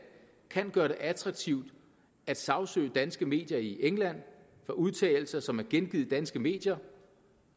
kan gøre det attraktivt at sagsøge danske medier i england for udtalelser som er gengivet i danske medier